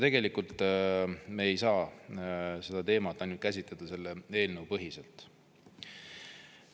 Tegelikult me ei saa seda teemat käsitleda ainult selle eelnõu põhiselt.